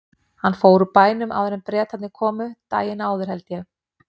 Hann fór úr bænum áður en Bretarnir komu, daginn áður held ég.